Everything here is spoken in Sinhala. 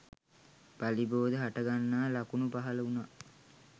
පළිබෝධ හට ගන්නා ලකුණු පහළ වුණා